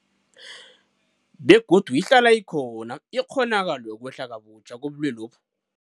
Begodu ihlala ikhona ikghonakalo yokwehla kabutjha kobulwelobu.